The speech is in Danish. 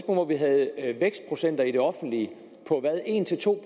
hvor vi havde vækstprocenter i det offentlige på en to